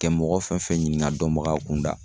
Kɛ mɔgɔ fɛn fɛn ɲiniga dɔnbagaw kunda